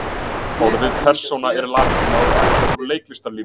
orðið persóna er latína og er ættað úr leiklistarlífinu